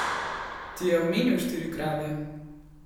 Ti je omenil štiri krave?